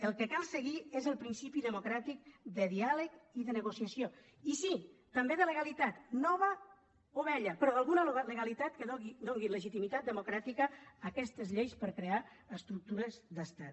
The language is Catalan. el que cal seguir és el principi democràtic de diàleg i de negociació i sí també de legalitat nova o vella però d’alguna legalitat que doni legitimitat democràtica a aquestes lleis per crear estructures d’estat